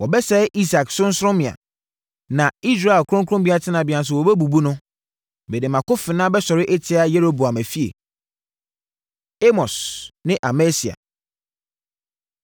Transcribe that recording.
“Wɔbɛsɛe Isak sorɔnsorɔmmea na Israel kronkron tenabea nso wɔbɛbubu no; mede mʼakofena bɛsɔre atia Yeroboam efie.” Amos Ne Amasia